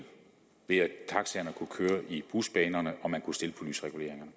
ved at taxaerne kunne køre i busbanerne og man kunne stille på lysreguleringerne